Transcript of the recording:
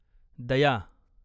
दया